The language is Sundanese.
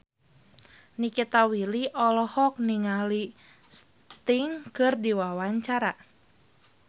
Nikita Willy olohok ningali Sting keur diwawancara